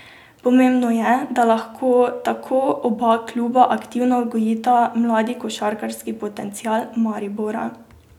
Pomembno je, da lahko tako oba kluba aktivno gojita mladi košarkarski potencial Maribora.